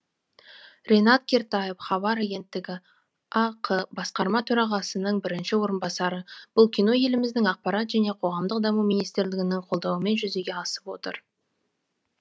ринат кертаев хабар агенттігі ақ басқарма төрағасының бірінші орынбасары бұл кино еліміздің ақпарат және қоғамдық даму министрлігінің қолдауымен жүзеге асып отыр